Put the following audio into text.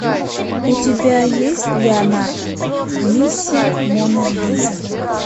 у тебя есть леонардо миссия мона лиза